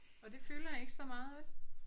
Og det fylder ikke så meget vel?